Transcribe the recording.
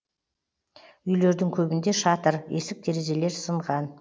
үйлердің көбінде шатыр есік терезелер сынған